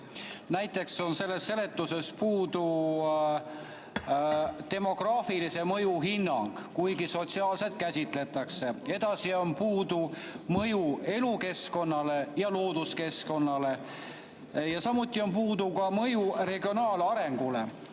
Näiteks on selles seletuses puudu demograafilise mõju hinnang, kuigi sotsiaalset käsitletakse, edasi on puudu mõjuhinnang elukeskkonnale ja looduskeskkonnale, samuti regionaalarengule.